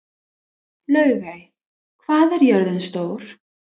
Laugey, hvað er jörðin stór?